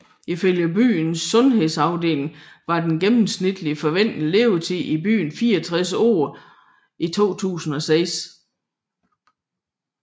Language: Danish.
Ifølge byens sundhedsafdeling var den gennemsnitlige forventede levetid i byen 64 år i 2006